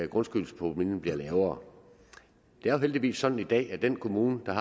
grundskyldspromillen bliver lavere det er jo heldigvis sådan i dag at den kommune der